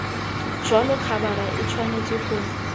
jalo khabara e tshwanetse go